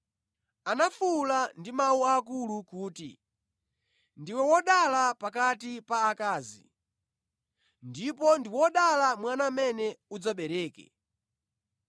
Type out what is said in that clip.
Anafuwula ndi mawu akulu kuti, “Ndiwe wodala pakati pa akazi, ndipo ndi wodala mwana amene udzabereke!